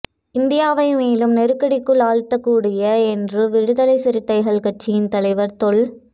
இந்தியாவை மேலும் நெருக்கடிக்குள் ஆழ்த்தக் கூடியது என்று விடுதலை சிறுத்தைகள் கட்சியின் தலைவர் தொல்